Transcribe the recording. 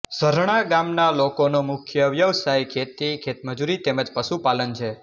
ઝરણા ગામના લોકોનો મુખ્ય વ્યવસાય ખેતી ખેતમજૂરી તેમ જ પશુપાલન છે